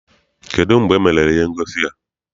Kedụ mgbe emere ihe ngosi a?